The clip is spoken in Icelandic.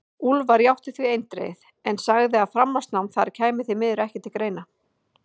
Úlfar játti því eindregið, en sagði að framhaldsnám þar kæmi því miður ekki til greina.